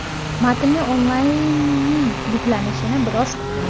Matnli onlaynning yuklanishini biroz kuting.